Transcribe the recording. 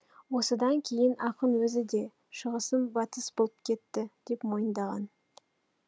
осыдан кейін ақын өзі де шығысым батыс боп кетті деп мойындаған